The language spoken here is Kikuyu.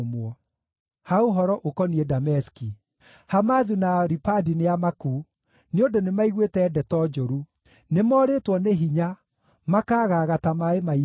Ha ũhoro ũkoniĩ Dameski: “Hamathu na Aripadi nĩamaku, nĩ ũndũ nĩmaiguĩte ndeto njũru. Nĩmorĩtwo nĩ hinya, makaagaaga ta maaĩ ma iria.